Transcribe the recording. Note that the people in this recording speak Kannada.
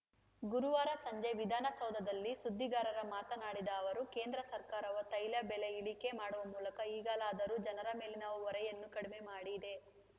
ಗುರುವಾರ ಸಂಜೆ ವಿಧಾನಸೌಧದಲ್ಲಿ ಸುದ್ದಿಗಾರರ ಮಾತನಾಡಿದ ಅವರು ಕೇಂದ್ರ ಸರ್ಕಾರವು ತೈಲ ಬೆಲೆ ಇಳಿಕೆ ಮಾಡುವ ಮೂಲಕ ಈಗಲಾದರೂ ಜನರ ಮೇಲಿನ ಹೊರೆಯನ್ನು ಕಡಿಮೆ ಮಾಡಿದೆ